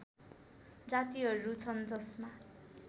जातिहरू छन् जसमा